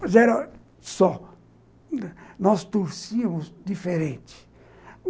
Mas era só, nós torcíamos diferente.